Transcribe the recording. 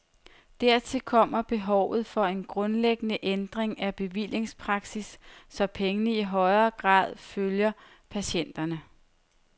Dertil kommer behovet for en grundlæggende ændring af bevillingspraksis, så pengene i højere grad følger patienterne.